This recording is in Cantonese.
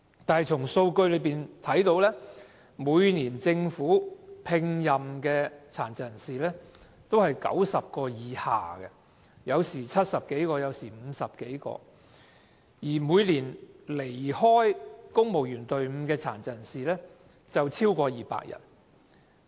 然而，數據顯示，政府每年聘用的殘疾人士均在90人以下，不是70多人，便是50多人，但每年離開公務員隊伍的殘疾人士卻有超過200人。